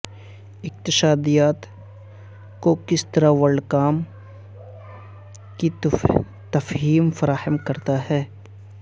اقتصادیات کو کس طرح ورلڈ کام کی تفہیم فراہم کرتا ہے